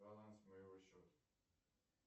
баланс моего счета